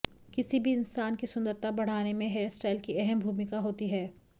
किसी भी इंसान की सुंदरता बढ़ाने में हेयरस्टाइल की अहम भूमिका होती हैं